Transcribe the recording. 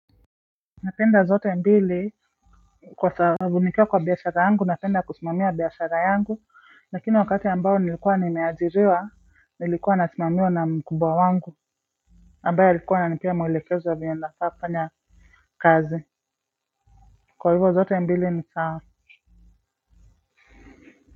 Napenda zote mbili kwa sababu nikiwa kwa biashara yangu napenda kusimamia biashara yangu lakini wakati ambayo nilikuwa nimeajiriwa nilikuwa nasimamiwa na mkubwa wangu ambaye alikuwa ananipea mwelekezo wa vile nafaa kufanya kazi kwa hivyo zote mbili ni sawa.